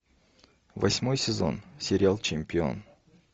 восьмой сезон сериал чемпион